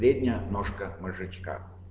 средняя ножка мозжечка